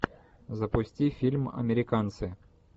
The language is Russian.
запусти фильм американцы